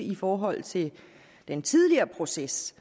i forhold til den tidligere proces